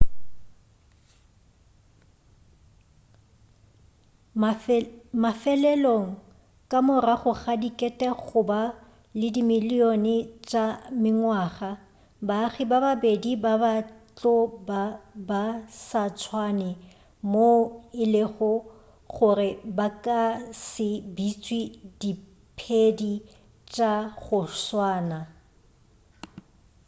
mafelelong ka morago ga dikete goba le dimilion tša mengwaga baagi ba babedi ba ba tlo ba ba sa tswane moo e lego gore ba ka se bitšwe diphedi tša go swana